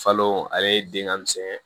Falo ale den ŋa misɛn